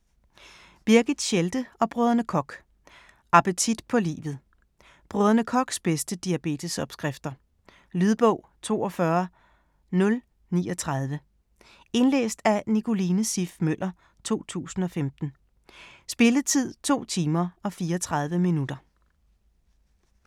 Birgit Schelde og Brdr. Koch: Appetit på livet Brdr. Kochs bedste diabetesopskrifter. Lydbog 42039 Indlæst af Nicoline Siff Møller, 2015. Spilletid: 2 timer, 34 minutter.